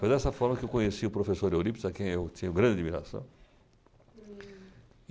Foi dessa forma que eu conheci o professor Eurípides, a quem eu tinha grande admiração.